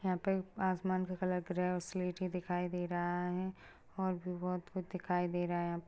यहाँ पे आसमान का कलर ग्रे और सिलेटी दिखाई दे रहा है और भी बहुत कुछ दिखाई दे रहा है हया पे।